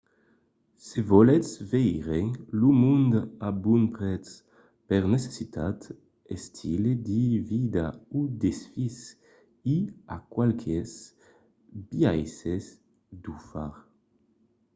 se volètz veire lo mond a bon prètz per necessitat estil de vida o desfís i a qualques biaisses d'o far